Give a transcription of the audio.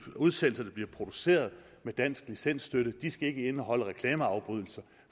udsendelser der bliver produceret med dansk licensstøtte skal indeholde reklameafbrydelser